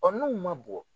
n'u ma bɔ